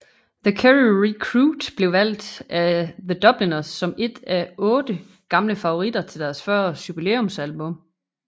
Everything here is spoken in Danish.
The Kerry Recruit blev valgt af The Dubliners som et af otte gamle favoritter til deres 40 års jubilæumsalbum